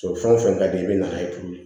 Sɔrɔ fɛn o fɛn ka di i bɛ na ye tulu ye